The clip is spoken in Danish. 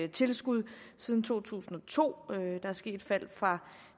tilskud siden to tusind og to der er sket et fald fra